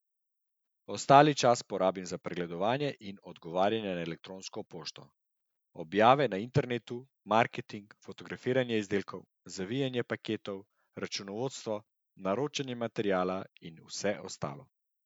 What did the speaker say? Ostali čas porabim za pregledovanje in odgovarjanje na elektronsko pošto, objave na internetu, marketing, fotografiranje izdelkov, zavijanje paketov, računovodstvo, naročanje materiala in vse ostalo.